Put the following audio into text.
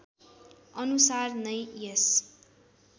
अनुसार नै यस